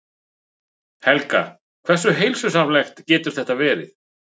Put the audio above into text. Helga: Hversu heilsusamlegt getur þetta verið?